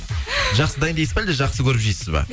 жақсы дайындайсыз ба әлде жақсы көріп жейсіз ба